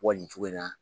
Bɔ nin cogo in na